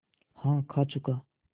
हाँ खा चुका